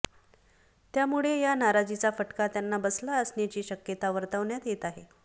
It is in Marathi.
त्यामुळे या नाराजीचा फटका त्यांना बसला असण्याची शक्यता वर्तवण्यात येत आहे